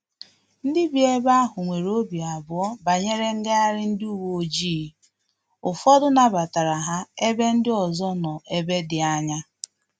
Ndị bi ebe aha nwere obi abụọ banyere ngagharị ndị uwe ojii, ụfọdụ nabatara ha ebe ndị nke ọzọ nọ ebe dị anya